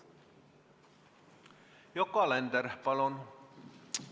Yoko Alender, palun!